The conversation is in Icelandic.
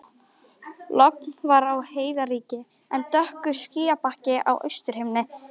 Logn var og heiðríkja en dökkur skýjabakki á austurhimni.